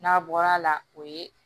N'a bɔra a la o ye